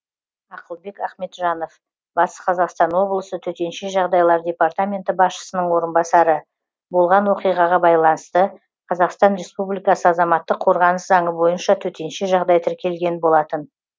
ақылбек ахметжанов батыс қазақстан облысы төтенше жағдайлар департаменті басшысының орынбасары болған оқиғаға байланысты қазақстан республикасы азаматтық қорғаныс заңы бойынша төтенше жағдай тіркелген болатын